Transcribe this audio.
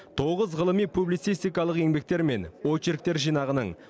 тоғыз ғылыми публицистикалық еңбектер мен очеректер жинағының